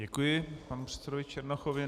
Děkuji panu předsedovi Černochovi.